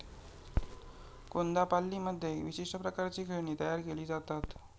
कोन्दापाल्लीमध्ये विशिष्ट प्रकारची खेळणी तयार केली जातात.